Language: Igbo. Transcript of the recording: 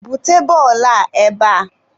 bute bọọlụ a ebea!